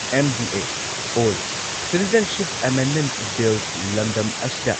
MDA all citizenship amendment bill ꯂꯝꯗꯝ ꯑꯁꯤꯗ